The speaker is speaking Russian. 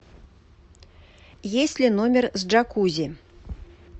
есть ли номер с джакузи